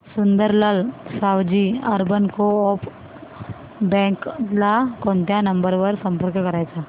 Sundarlal Savji urban co-op bank ला कोणत्या number वर संपर्क करायचा